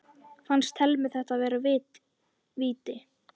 Fannst Thelmu þetta vera víti?